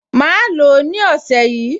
Màá lò ó ní ọ̀sẹ̀ yìí